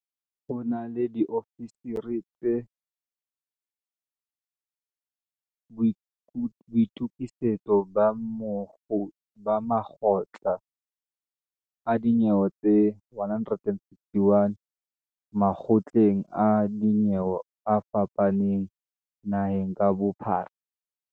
Ho na le diofisiri tsa boitukisetso ba makgotla a dinyewe tse 161 makgotleng a dinyewe a fapaneng naheng ka bophara.